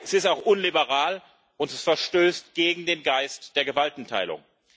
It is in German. Es ist auch unliberal und verstößt gegen den Geist der Gewaltenteilung.